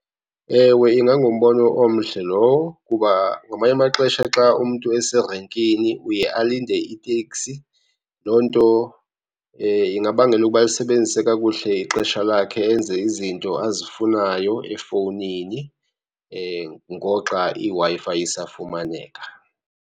Ewe, ingangumbono omhle lowo. Kuba ngamanye amaxesha xa umntu eserenkini uye alinde iteksi, loo nto ingabangela ukuba asebenzise kakuhle ixesha lakhe enze izinto azifunayo efowunini ngoxa iWi-Fi isafumaneka.